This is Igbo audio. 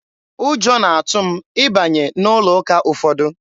Ụjọ na-atụ m ịbanye n'ụlọ ụka ụfọdụ.